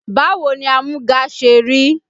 Báwo ni amúga ṣe rí?